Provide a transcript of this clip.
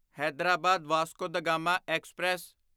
Hyderabad Vasco da Gama express